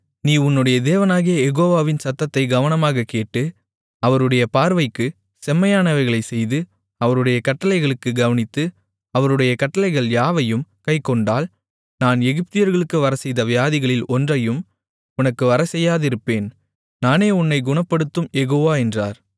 நீ உன்னுடைய தேவனாகிய யெகோவாவின் சத்தத்தைக் கவனமாகக் கேட்டு அவருடைய பார்வைக்குச் செம்மையானவைகளைச் செய்து அவருடைய கட்டளைகளுக்குக் கவனித்து அவருடைய கட்டளைகள் யாவையும் கைக்கொண்டால் நான் எகிப்தியர்களுக்கு வரச்செய்த வியாதிகளில் ஒன்றையும் உனக்கு வரச்செய்யாதிருப்பேன் நானே உன்னை குணப்படுத்தும் யெகோவா என்றார்